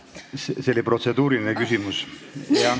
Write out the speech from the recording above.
See oli protseduuriline küsimus.